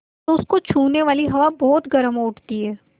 तो उसको छूने वाली हवा बहुत गर्म हो उठती है